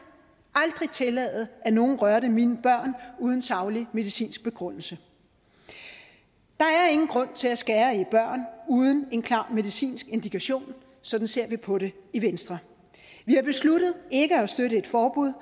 aldrig tillade at nogen rørte mine børn uden saglig medicinsk begrundelse der er ingen grund til at skære i børn uden en klar medicinsk indikation sådan ser vi på det i venstre vi har besluttet ikke at støtte et forbud